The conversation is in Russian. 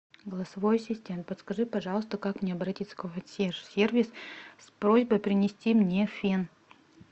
голосовой ассистент подскажи пожалуйста как мне обратиться в консьерж сервис с просьбой принести мне фен